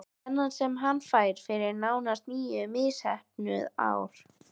Þennan sem hann fær fyrir nánast níu misheppnuð ár?